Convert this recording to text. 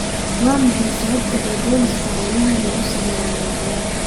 Waa maxay sababta ay booliisku hawlahooda ugu saleeyaan malo-awaal?